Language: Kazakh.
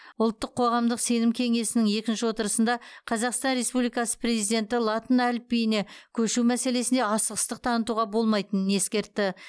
ұлттық қоғамдық сенім кеңесінің екінші отырысында қазақстан республикасы президенті латын әліпбиіне көшу мәселесіне асығыстық танытуға болмайтынын ескертті